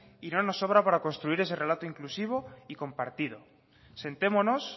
y no nos sobra para construir ese relato inclusivo y compartido sentémonos